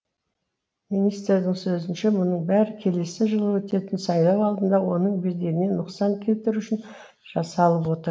министрдің сөзінше мұның бәрі келесі жылы өтетін сайлау алдында оның беделіне нұқсан келтіру үшін жасалып отыр